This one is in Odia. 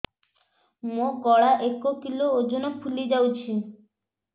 ମୋ ଗଳା ଏକ କିଲୋ ଓଜନ ଫୁଲି ଯାଉଛି